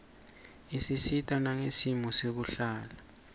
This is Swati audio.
isisita nangesimo sekuhlala